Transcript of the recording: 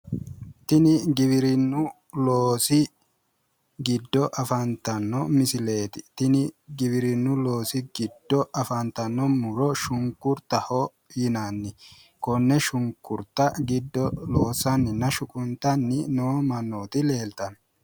Tini giwirinnu loosi giddo afantanno misileeti. Tini giwirinnu loosi giddo afantanno muro shunkuryaho yinanni. Konne shunkurta giddo loossanninna shunquntanni noo mannooti leeltanno.